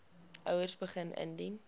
ouers begin indien